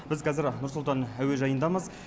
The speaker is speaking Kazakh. біз қазір нұр сұлтан әуежайындамыз